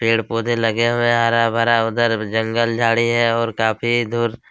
पेड़ पोधे लगे हुए है हरा भरा उधर जंगल झाड़ी है और काफ़ी दूर.--